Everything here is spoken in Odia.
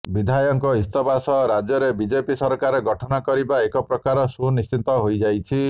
ବିଧାୟକଙ୍କ ଇସ୍ତଫା ସହ ରାଜ୍ୟରେ ବିଜେପି ସରକାର ଗଠନ କରିବା ଏକ ପ୍ରକାର ସୁନିଶ୍ଚିତ ହୋଇଯାଇଛି